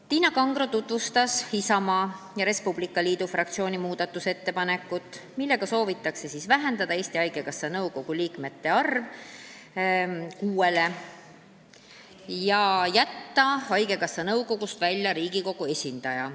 Tiina Kangro tutvustas Isamaa ja Res Publica Liidu fraktsiooni muudatusettepanekut, millega soovitakse vähendada Eesti Haigekassa nõukogu liikmete arv kuueni ja jätta haigekassa nõukogust välja Riigikogu esindaja.